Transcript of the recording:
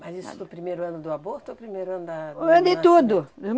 Mas isso do primeiro ano do aborto ou primeiro ano da... O ano de tudo. Da